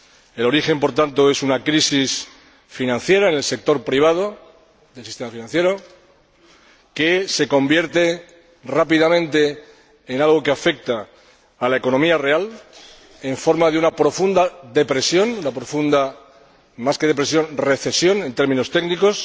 El origen es, por tanto, una crisis financiera en el sector privado del sistema financiero, que se convierte rápidamente en algo que afecta a la economía real en forma de una profunda depresión, una profunda recesión —en términos técnicos—